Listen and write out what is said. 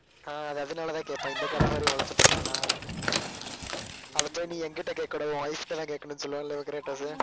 ஆஹ் அதனாலதான் கேட்பான் இந்த காட் ஆஃப் வாரையும் வளைச்சிபோட்டாளா அதை போய் நீ என்கிட்ட கேட்கக்கூடாது உன் wife கிட்டதான் கேட்கணும்ன்னு சொல்லுவான்ல இல்லை க்ரேடோஸ்